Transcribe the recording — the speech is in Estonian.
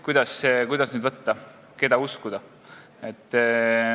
Kuidas nüüd võtta – keda uskuda?